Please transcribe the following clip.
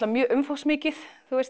mjög umfangsmikið